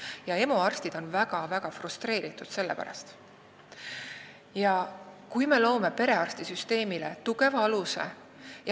Ja EMO arstid on selle pärast väga frustreeritud.